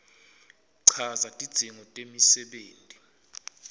chaza tidzingo temisebenti